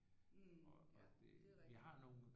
Ja det er rigtigt